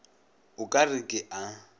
o ka re ke a